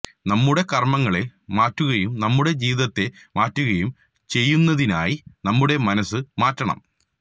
നമ്മുടെ കർമങ്ങളെ മാറ്റുകയും നമ്മുടെ ജീവിതത്തെ മാറ്റുകയും ചെയ്യുന്നതിനായി നമ്മുടെ മനസ് മാറ്റണം